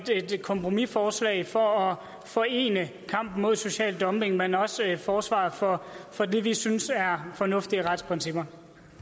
kompromisforslag for at forene kampen mod social dumping men også forsvaret for det vi synes er fornuftige retsprincipper